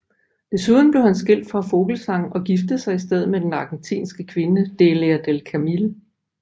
Desuden blev han skilt fra Vogelzang og giftede sig i stedet med den argentinske kvinde Delia del Carril